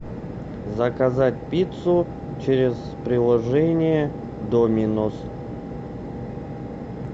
заказать пиццу через приложение доминос